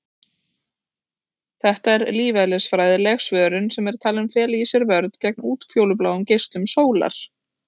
Þetta er lífeðlisfræðileg svörun sem er talin fela í sér vörn gegn útfjólubláum geislum sólar.